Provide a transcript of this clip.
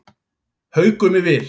Haukum í vil